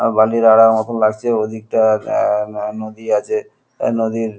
লাগছেওদিকটাআ আ নদী আছে নদীর।